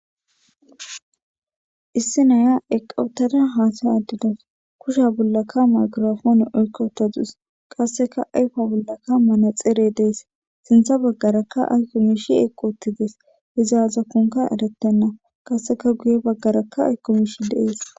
issi naya eqqauttada haasa addidas kusha bollaka maykirfoone oykkatadus qasseka ayfa bollaka mane xere dees sintha baggarakka aykko miishi eqoottides izaaza konka arettenna kasseka guye baggarakka aykko mishi deees